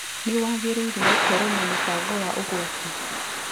Nĩ wagĩreire gũkoro na mũbango wa ũgwati.